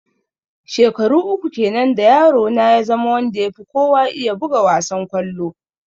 Shekaru uku kenan da yaro na ya zama wanda ya fi kowa iya buga wassan kollo.